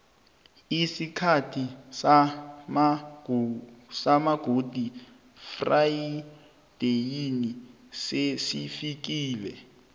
isikhathi samagudi frayideyi sesifikile